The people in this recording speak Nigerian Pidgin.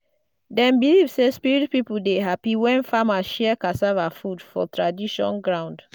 dem believe say spirit people dey happy when farmers share cassava food for tradition ground.